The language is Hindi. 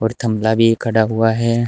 थमला भी खड़ा हुआ है।